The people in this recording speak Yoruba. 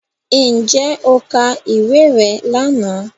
Ǹjẹ́ o ka ìwé rẹ lánàá